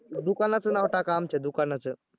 दुकानचं नाव टाका आमच्या दुकानाचं